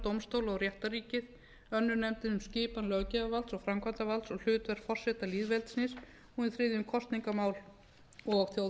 dómstóla og réttarríkið önnur nefndin um skipan löggjafarvalds og framkvæmdarvalds og hlutverk forseta lýðveldisins og hin þriðja um kosningamál og